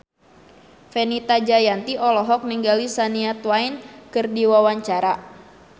Fenita Jayanti olohok ningali Shania Twain keur diwawancara